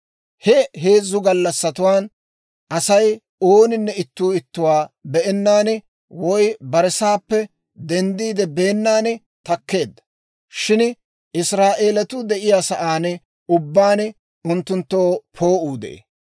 He heezzu gallassatuwaan Asay ooninne ittuu ittuwaa be'ennaan, woy bare sa'aappe denddiide beennan takkeedda. Shin Israa'eeletuu de'iyaa sa'aan ubbaan unttunttoo poo'uu de'ee.